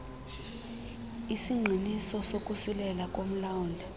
isingqinisiso sokusilela komlawuli